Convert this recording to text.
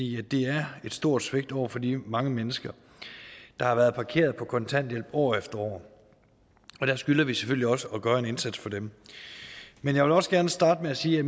i at det er et stort svigt over for de mange mennesker der har været parkeret på kontanthjælp år efter år der skylder vi selvfølgelig også at gøre en indsats for dem men jeg vil også gerne starte med sige at